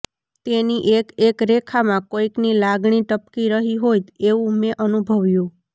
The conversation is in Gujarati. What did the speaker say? તેની એક એક રેખામાં કોઈકની લાગણી ટપકી રહી હોય એવું મેં અનુભવ્યું